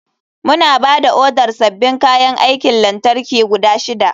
Muna ba da odar sabbin kayan aikin lantarki guda shida.